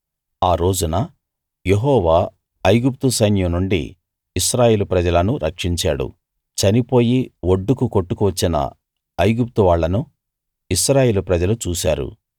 ఆ రోజున యెహోవా ఐగుప్తు సైన్యం నుండి ఇశ్రాయేలు ప్రజలను రక్షించాడు చనిపోయి ఒడ్డుకు కొట్టుకు వచ్చిన ఐగుప్తు వాళ్ళను ఇశ్రాయేలు ప్రజలు చూశారు